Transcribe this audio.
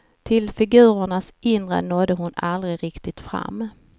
Till figurernas inre nådde hon aldrig riktigt fram.